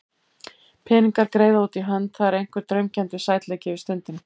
Peningar, greiða út í hönd, það er einhver draumkenndur sætleiki yfir stundinni.